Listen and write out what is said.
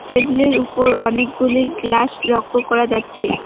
টেবিলের উপর অনেকগুলি গ্লাস লক্ষ করা যাচ্ছে।